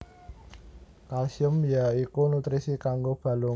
Kalsium ya iku nutrisi kanggo balung